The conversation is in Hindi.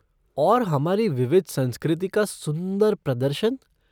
और हमारी विविध संस्कृति का सुंदर प्रदर्शन।